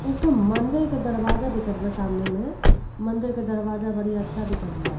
एकठो मंदिर के दरवाजा दिखत वा सामने में। मंदिर के दरवाजा बड़ी अच्छा दिखत बा।